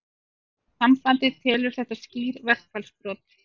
Sambandið telur þetta skýr verkfallsbrot